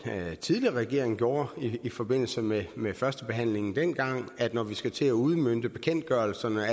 tidligere regering gjorde i forbindelse med med førstebehandlingen dengang at når vi skal til at udmønte bekendtgørelserne